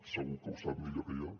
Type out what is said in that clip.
segur que ho sap millor que jo